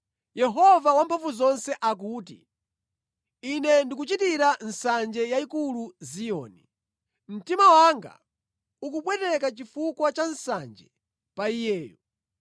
Yehova Wamphamvuzonse akuti, “Ine ndikuchitira nsanje yayikulu Ziyoni. Mtima wanga ukupweteka chifukwa cha nsanje pa iyeyo.”